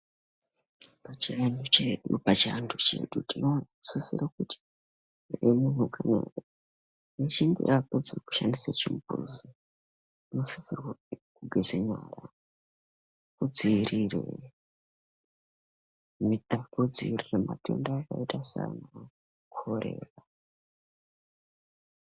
Pachianu chedu pachianhu chedu tinosisire kuti emunhu kana echinge apedze kushandise chimbuzi unosisirwe kugeze nyara kudziirire mita kudziirire matenda akaita saana korera.